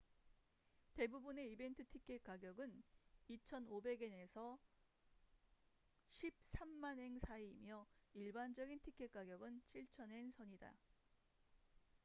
대부분의 이벤트 티켓 가격은 2,500엔에서 130,000엔 사이이며 일반적인 티켓 가격은 7,000엔 선이다